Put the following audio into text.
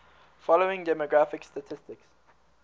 following demographic statistics